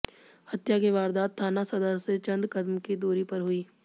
हत्या की वारदात थाना सदर से चंद कदम की दूरी पर हुई